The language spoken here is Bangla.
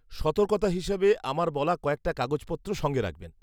সতর্কতা হিসাবে, আমার বলা কয়েকটা কাগজপত্র সঙ্গে রাখবেন।